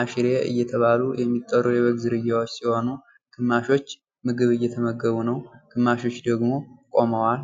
አሽሬ እየተባሉ የሚጠሩ የበግ ዝርያዎች ሲሆኑ ግማሾች ምግብ እየተመገቡ ነው ፤ ግማሾች ደግሞ ቆመዋል።